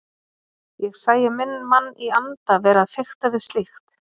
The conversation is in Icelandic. Ég sæi minn mann í anda vera að fikta við slíkt!